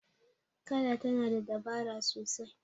kada tana da dabara sasai